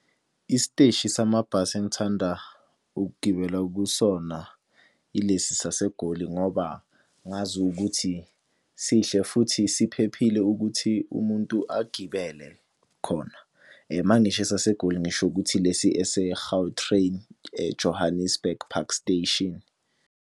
Isiteshi samabhasi engithanda ukugibela kusona ilesi saseGoli ngoba ngazi ukuthi sihle futhi siphephile ukuthi umuntu agibele khona. Uma ngisho esaseGoli ngisho ukuthi lesi ese-Gautrain e-Johannesburg Park Station.